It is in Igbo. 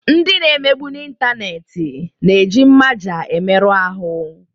Ndị na-emegbu n'ịntanetị na-eji mmaja emerụ ahụ.